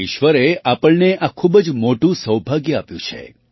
ઈશ્વરે આપણને આ ખૂબ જ મોટું સૌભાગ્ય આપ્યું છે